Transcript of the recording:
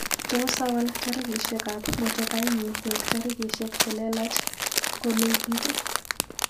Tos awal tairishekap motokainyu koek tairishek chelelach kolekit.